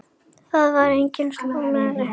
Það var engin Salóme hér.